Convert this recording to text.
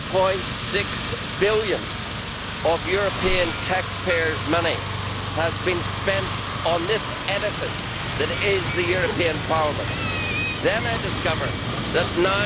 1.6 billion of European taxpayers' money has been spent on this edifice that is the European Parliament, then I discover that EUR